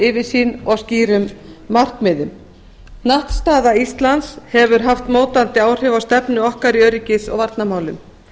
yfirsýn og skýrum markmiðum hnattstaða íslands hefur haft mótandi áhrif á stefnu okkar í öryggis og varnarmálum